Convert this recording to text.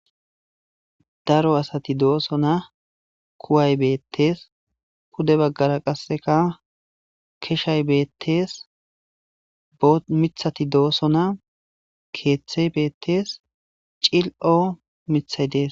daro asati dooso na kuway beettees kude baggara qasseka keshay beettees b mithati dooso na keeththey beettees cil7o mithay dees